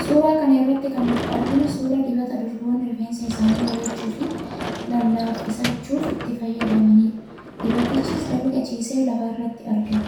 Suuraa kana irratti kan nuti arginu, suuraa dibata durboonni rifeensa isaanii bareechuu fi lallaafisachuuf itti fayyadamanidha. Dibatichis dalga ciisee lafa irratti argama.